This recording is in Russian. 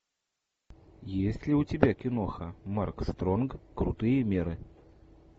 есть ли у тебя киноха марк стронг крутые меры